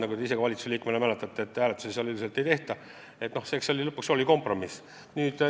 Nagu te ise ka endise valitsuse liikmena mäletate, hääletusi seal üldiselt ei tehta, eks see lõpuks oli kompromiss.